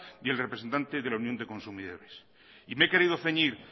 y el representante de la unión de consumidores y me he querido ceñir